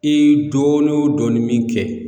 I dɔɔnin o dɔɔnin min kɛ